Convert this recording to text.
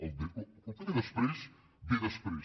el que ve després ve després